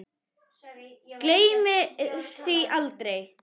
Gleymir því aldrei.